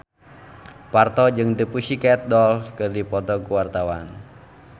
Parto jeung The Pussycat Dolls keur dipoto ku wartawan